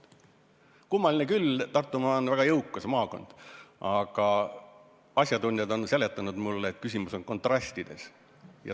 Kummaline küll, Tartumaa on väga jõukas maakond, aga asjatundjad on mulle seletanud, et asi on kontrastides.